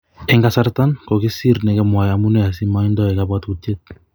Eng kasaratan kogisir negamwae amune asimoidoi kabwatutiet?